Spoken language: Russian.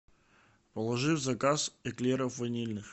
положи в заказ эклеров ванильных